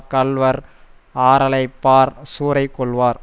கள்வர் ஆறலைப்பார் சூறை கொள்வார்